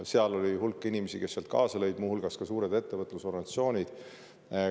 Seal lõi kaasa hulk inimesi ja ka suured ettevõtlusorganisatsioonid.